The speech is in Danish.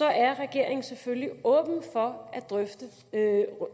er regeringen selvfølgelig åben for at